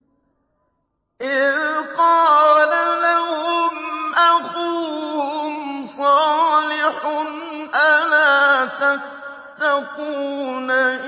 إِذْ قَالَ لَهُمْ أَخُوهُمْ صَالِحٌ أَلَا تَتَّقُونَ